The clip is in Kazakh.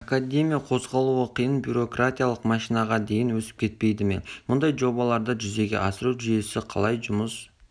академия қозғалуы қиын бюрократиялық машинаға дейін өсіп кетпейді ме мұндай жобаларды жүзеге асыру жүйесі қалай жұмыс